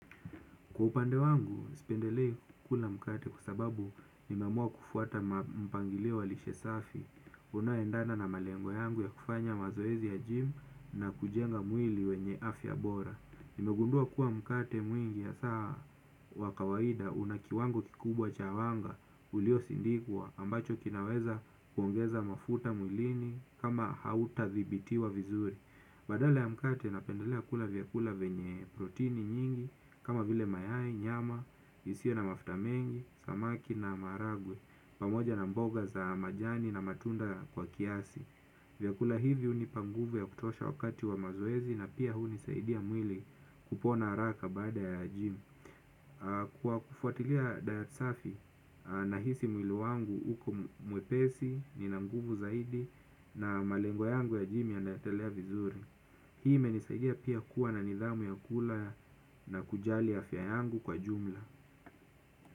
Kwa upande wangu, sipendelei kukula mkate kwasababu nimeamua kufuata mpangilio walishe safi, unayoendana na malengo yangu ya kufanya mazoezi ya gym na kujenga mwili wenye afya bora. Nimegundua kuwa mkate mwingi hasa wakawaida unakiwango kikubwa cha wanga ulio sindikwa ambacho kinaweza kuongeza mafuta mwilini kama hauta thibiti wa vizuri. Badala ya mkate napendelea kula vyakula venye protini nyingi, kama vile mayai, nyama, isio na mafutamengi, samaki na maharagwe, pamoja na mboga za majani na matunda kwa kiasi. Vyakula hivi hunipa nguvu ya kutosha wakati wa mazoezi na pia hunisaidia mwili kupona haraka baada ya gym. Kwa kufuatilia diet safi, nahisi mwili wangu uko mwepesi ni nanguvu zaidi na malengoyangu ya gym ya naendelea vizuri. Hii imenisaidia pia kuwa na nidhamu ya kula na kujali afya yangu kwa jumla.